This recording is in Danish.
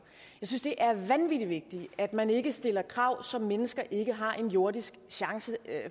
jeg synes det er vanvittig vigtigt at man ikke stiller krav som mennesker ikke har en jordisk chance